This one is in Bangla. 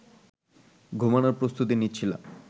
ঘুমানোর প্রস্তুতি নিচ্ছিলাম